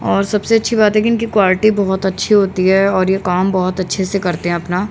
और सबसे अच्छी बात है की इनकी क्वालिटी बहोत अच्छी होती है और ये काम बहोत अच्छे से करते हैं अपना--